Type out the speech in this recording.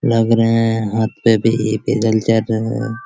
लग रहे हैं हाथ पे भी पैदल चर रहे हैं।